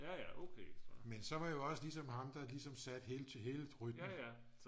men så var jeg jo også ligesom ham der ligesom satte hele rytmen